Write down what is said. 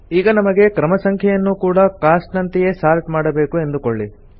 ಈಗ ನಮಗೆ ಕ್ರಮ ಸಂಖ್ಯೆಯನ್ನೂ ಕೂಡ ಕಾಸ್ಟ್ ನಂತೆಯೇ ಸಾರ್ಟ್ ಮಾಡಬೇಕು ಎಂದುಕೊಳ್ಳಿ